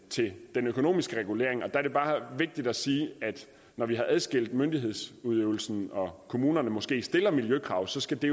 den økonomiske regulering der er det bare vigtigt at sige at når vi har adskilt myndighedsudøvelsen og kommunerne måske stiller miljøkrav skal det